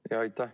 Aitäh!